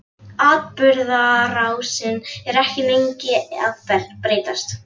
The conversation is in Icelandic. Atburðarásin er ekki lengi að breytast.